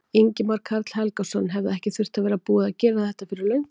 Ingimar Karl Helgason: Hefði ekki þurft að vera búið að gera þetta fyrir löngu?